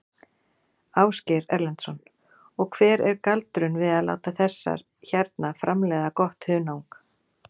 Ásgeir Erlendsson: Og hver er galdurinn við að láta þessar hérna framleiða gott hunang?